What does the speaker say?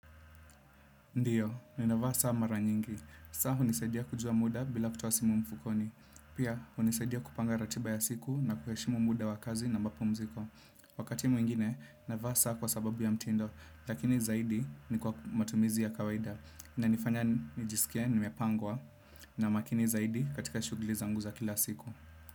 Ndiyo, ni navaa saa mara nyingi. Saa hunisaidia kujua muda bila kutoa simu mfukoni. Pia, hunisaidia kupanga ratiba ya siku na kuheshimu muda wa kazi na mapumziko. Wakati mwingine, navaa saa kwa sababu ya mtindo, lakini zaidi ni kwa matumizi ya kawaida. Inanifanya, nijisikia nimepangwa, na makini zaidi katika shughuli zangu za kila siku.